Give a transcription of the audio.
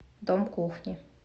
дом кухни